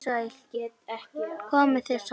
Komið þið sæl.